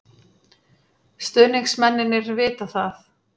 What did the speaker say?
Stuðningsmennirnir vita það.